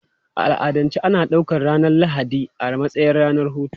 A al'adance ana ɗaukar ranar Lahadi a matsayin ranar hutu.